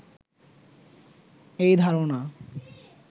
এই ধারণা